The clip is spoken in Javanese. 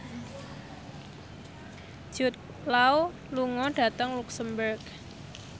Jude Law lunga dhateng luxemburg